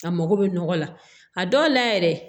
A mago bɛ nɔgɔ la a dɔw la yɛrɛ